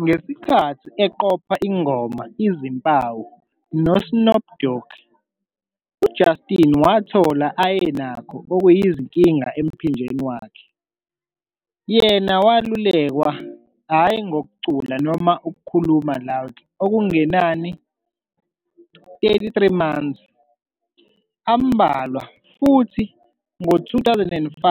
Ngesikhathi uqopha ingoma "Izimpawu" nge Snoop Dog, Justin wathola ayenakho izinkinga emphinjeni wakhe. Yena welulekwa hhayi ukucula noma ukukhuluma loudly okungenani months.33 ambalwa Futhi ngo-2005,